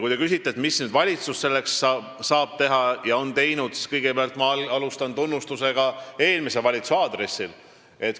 Kui te küsite, mida nüüd valitsus teha saab ja on teinud, siis kõigepealt ma alustan tunnustusega eelmise valitsuse aadressil.